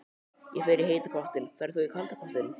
Ég fer í heita pottinn. Ferð þú í kalda pottinn?